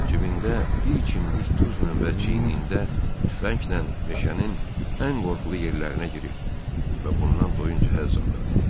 Cibində bir kimdik duzla və çiynində tüfənglə meşənin ən qorxulu yerlərinə girir və bundan doyunca həzz alırdı.